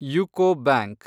UCO bank